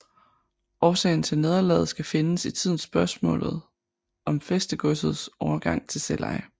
Årsagen til nederlaget skal findes i tidens spørgsmålet om fæstegodsets overgang til selveje